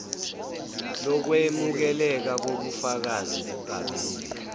lokwemukeleka kobufakazi kukabili